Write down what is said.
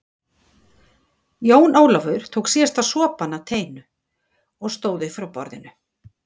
Jón Ólafur tók síðasta sopann af teinu og stóð upp frá borðinu.